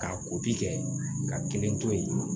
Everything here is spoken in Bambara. Ka kɛ ka kelen to yen